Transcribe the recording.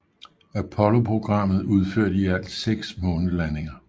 Apolloprogrammet udførte i alt 6 månelandinger